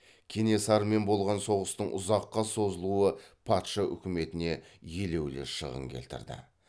кенесарымен болған соғыстың ұзаққа созылуы патша үкіметіне елеулі шығын келтірді